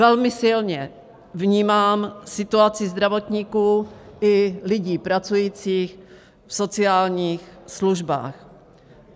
Velmi silně vnímám situaci zdravotníků i lidí pracujících v sociálních službách.